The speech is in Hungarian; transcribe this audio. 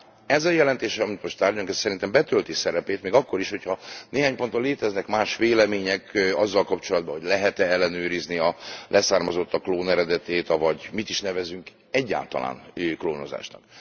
Tehát ez a jelentés, amit most tárgyalunk, szerintem betölti szerepét, még akkor is, ha néhány ponton léteznek más vélemények azzal kapcsolatban, hogy lehet e ellenőrizni a leszármazottak klóneredetét, avagy mit is nevezünk egyáltalán klónozásnak.